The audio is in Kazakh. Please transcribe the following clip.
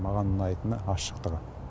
маған ұнайтыны ашықтығы